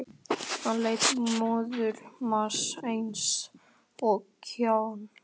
Hann lét móðan mása eins og kjáni.